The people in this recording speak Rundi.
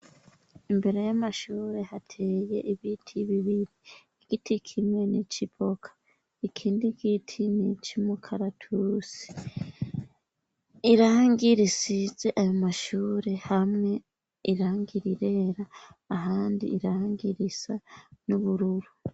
Imbere y'amashuri hateye ibiti bibiri. Igiti kimwe n'ico ivoka, ikindi giti n'ico umukaratusi. Irangi risize ayo mashure, hamwe irangi rirera ahandi irangi risa n'ubururu.